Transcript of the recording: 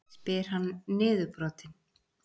spyr hann niðurbrotinn.